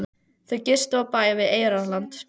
Þau gistu á bæ við Eyrarland.